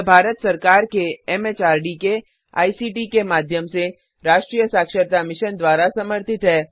यह भारत सरकार के एमएचआरडी के आईसीटी के माध्यम से राष्ट्रीय साक्षरता मिशन द्वारा समर्थित है